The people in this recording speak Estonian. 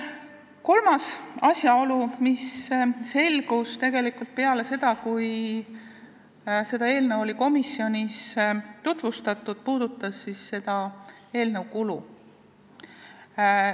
Kolmas asjaolu, mis selgus peale seda, kui eelnõu oli komisjonis tutvustatud, puudutas eelnõu kulutusi.